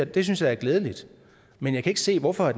det synes jeg er glædeligt men jeg kan ikke se hvorfor